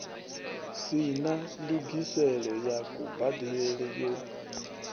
sina ndungiselo ya kubadelele yo